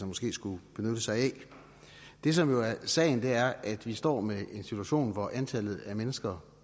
måske skulle benytte sig af det som jo er sagen er at vi står med en situation hvor antallet af mennesker